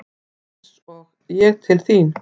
Eins og ég til þín?